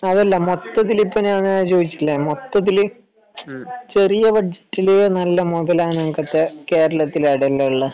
അതല്ല മൊത്തത്തിൽ ഞാൻ ഇപ്പൊ ചോദിച്ചില്ലേ മൊത്തത്തിൽ ചെറിയ ബഡ്ജറ്റിൽ മൊതലാവണമെങ്കിൽ കേരളത്തിൽ എവിടെയാ ഉള്ളെ